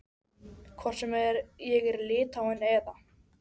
Hvort sem ég er í Litháen eða